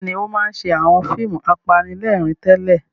Bẹ́ẹ̀ni, ó máa ń ṣe àwọn fíìmù apanilẹ́rìn-ín tẹ́lẹ̀.